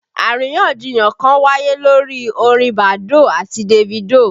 Àríyànjiyàn kan wáyé lórí orin Badoo àti Davido